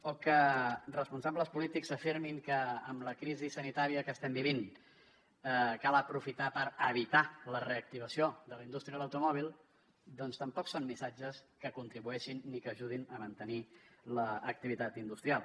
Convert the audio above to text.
o que responsables polítics afirmin que amb la crisi sanitària que estem vivint cal aprofitar per evitar la reactivació de la indústria de l’automòbil doncs tampoc són missatges que contribueixin ni que ajudin a mantenir l’activitat industrial